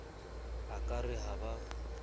a ka re ha ba